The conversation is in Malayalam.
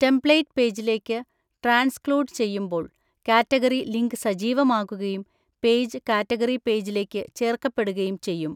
ടെംപ്ലേറ്റ് പേജിലേക്ക് ട്രാൻസ്‌ക്ലൂഡ് ചെയ്യുമ്പോൾ, കാറ്റഗറി ലിങ്ക് സജീവമാകുകയും, പേജ് കാറ്റഗറി പേജിലേക്ക് ചേർക്കപ്പെടുകയും ചെയ്യും.